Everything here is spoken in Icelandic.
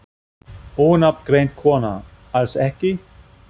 Ónafngreind kona: Alls ekki?